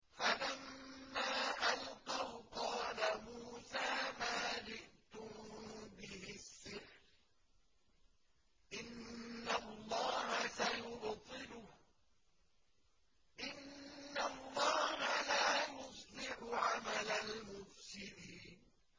فَلَمَّا أَلْقَوْا قَالَ مُوسَىٰ مَا جِئْتُم بِهِ السِّحْرُ ۖ إِنَّ اللَّهَ سَيُبْطِلُهُ ۖ إِنَّ اللَّهَ لَا يُصْلِحُ عَمَلَ الْمُفْسِدِينَ